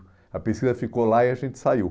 A pesquisa ficou lá e a gente saiu.